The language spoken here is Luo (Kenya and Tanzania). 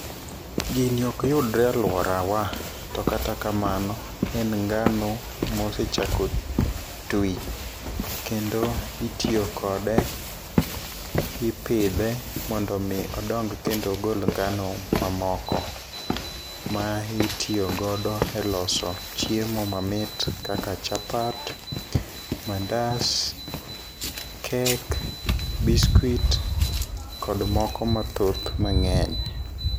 Gini ok yudre alworawa, to kata kamano, en ngano mosechako twi, kendo itiyo kode ,ipidhe mondo omi odong kendo ogol ngano mamoko, ma itiyo godo e loso chiemo mamit kaka chapat ,mandas, kek, biskut kod moko mathoth mang'eny.